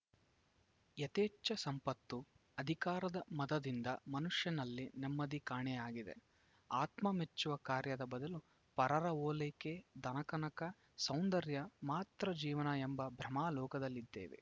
ಯಥೇಚ್ಛ ಸಂಪತ್ತು ಅಧಿಕಾರದ ಮದದಿಂದ ಮನುಷ್ಯನಲ್ಲಿ ನೆಮ್ಮದಿ ಕಾಣೆಯಾಗಿದೆ ಆತ್ಮ ಮೆಚ್ಚುವ ಕಾರ್ಯದ ಬದಲು ಪರರ ಒಲೈಕೆ ಧನಕನಕ ಸೌಂದರ್ಯ ಮಾತ್ರ ಜೀವನ ಎಂಬ ಭ್ರಮಾ ಲೋಕದಲ್ಲಿದ್ದೇವೆ